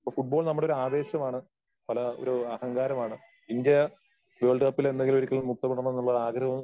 അപ്പോ ഫുട്ബോൾ നമ്മടെ ഒരു ആവേശമാണ്. പല ഒരു അഹങ്കാരമാണ്. ഇന്ത്യ വേൾഡ് കപ്പിൽ ഒരിക്കൽ മുത്തം ഇടണം എന്നുള്ള ഒരു ആഗ്രഹവും